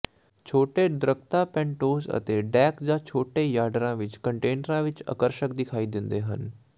ਛੋਟੇ ਦਰੱਖਤਾਂ ਪੈਟੋਜ਼ ਅਤੇ ਡੈੱਕ ਜਾਂ ਛੋਟੇ ਯਾਰਡਾਂ ਵਿੱਚ ਕੰਟੇਨਰਾਂ ਵਿੱਚ ਆਕਰਸ਼ਕ ਦਿਖਾਈ ਦਿੰਦੇ ਹਨ